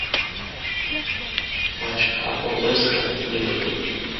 матч апл вест хэм ливерпуль